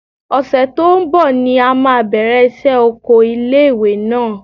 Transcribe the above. Ọ̀sẹ̀ tó ń bọ̀ ni a máa bẹ̀rẹ̀ iṣẹ́ oko ilé ìwé náà.